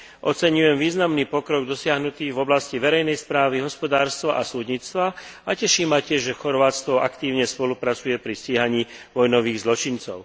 Oceňujem významný pokrok dosiahnutý v oblasti verejnej správy, hospodárstva a súdnictva a teší ma tiež, že Chorvátsko aktívne spolupracuje pri stíhaní vojnových zločincov.